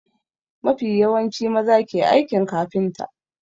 Mafi yawanci maza ke aikin kafinta.